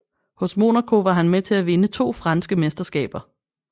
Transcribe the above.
Hos Monaco var han med til at vinde to franske mesterskaber